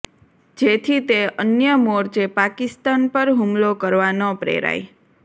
જેથી તે અન્ય મોરચે પાકિસ્તાન પર હુમલો કરવા ન પ્રેરાય